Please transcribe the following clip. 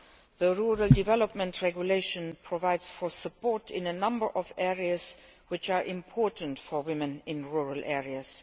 The rural development regulation provides for support in a number of areas which are important for women in rural areas.